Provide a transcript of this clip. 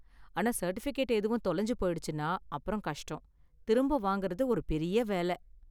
ஆனா, சர்டிஃபிகேட் எதுவும் தொலைஞ்சு போயிடுச்சுனா அப்புறம் கஷ்டம், திரும்ப வாங்கறது ஒரு பெரிய வேல.